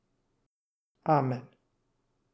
Amen.